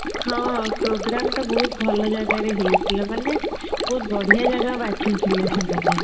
ହଁ programme ତ ବହୁତ ଭଲ ଜାଗାରେ ହେଇଥିଲା ମାନେ ବହୁତ ବଢିଆ ଜାଗା ବାଛିଥିଲେ ସେମାନେ